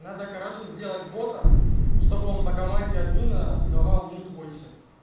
надо короче сделать бота чтобы он по команде админа сдавал